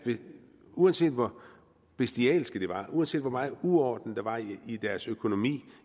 uanset hvor bestialsk det var og uanset hvor meget uorden der var i i deres økonomi